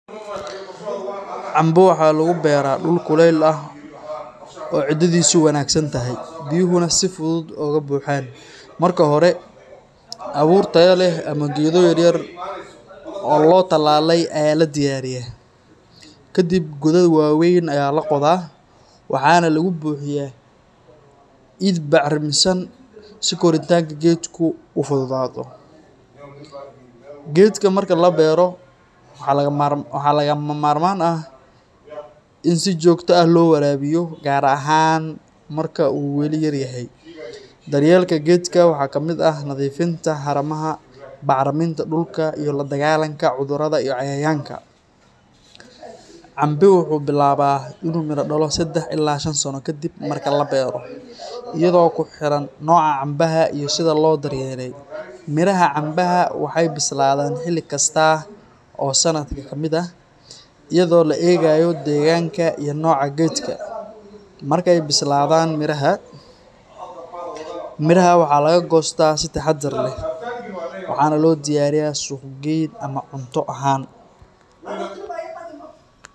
Cambe waxaa lagu beeraa dhul kuleyl ah oo ciiddiisu wanaagsan tahay, biyuhuna si fudud uga baxaan. Marka hore, abuur tayo leh ama geedo yar yar oo la tallaalay ayaa la diyaariyaa. Ka dib, godad waaweyn ayaa la qodaa, waxaana lagu buuxiyaa ciid bacramisan si koritaanka geedku u fududaado. Geedka marka la beero, waxaa lagama maarmaan ah in si joogto ah loo waraabiyo, gaar ahaan marka uu weli yar yahay. Daryeelka geedka waxaa ka mid ah nadiifinta haramaha, bacriminta dhulka iyo la dagaallanka cudurrada iyo cayayaanka. Cambe wuxuu bilaabaa inuu miro dhalo 3 ilaa 5 sano kadib marka la beero, iyadoo ku xiran nooca cambaha iyo sida loo daryeelay. Miraha cambaha waxay bislaadaan xilli kasta oo sanadka ka mid ah, iyadoo la eegayo deegaanka iyo nooca geedka. Markay bislaadaan, miraha waxaa laga goostaa si taxaddar leh, waxaana loo diyaariyaa suuq-geyn ama cunto ahaan.